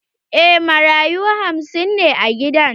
Eh, marayu hamsin ne a gidan.